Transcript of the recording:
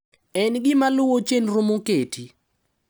En gima luwo chenro moketi.